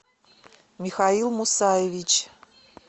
михаил мусаевич